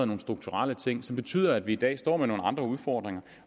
nogle strukturelle ting som betyder at vi i dag står med nogle andre udfordringer